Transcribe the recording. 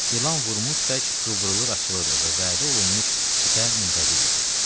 İlan vurmuş tək qıvrılır açılırdı və vədə olunmuş fitə müntəzir idi.